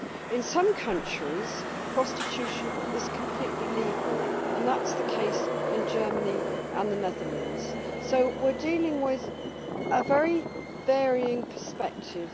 In some countries, prostitution is completely legal that is the case in Germany and the Netherlands so we are dealing with a very varying perspective.